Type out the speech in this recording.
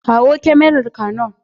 Kawo kyamarar canon.